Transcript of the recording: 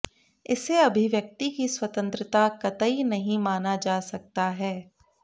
इसे अभिव्यक्ति की स्वतंत्रता कतई नहीं माना जा सकता है